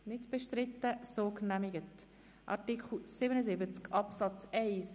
Wir kommen zu Artikel 77 Absatz 2.